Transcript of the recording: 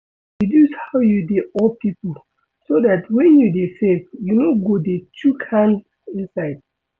Reduce how you dey owe pipo so dat when you dey save you no go dey chook hand inside